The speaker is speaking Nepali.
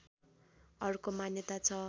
अर्को मान्यता छ